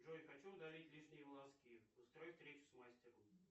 джой хочу удалить лишние волоски устрой встречу с мастером